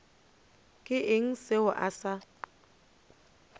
ke eng yeo a sa